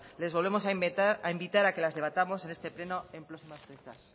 les volvemos a invitar a que las debatamos en este pleno en próximas fechas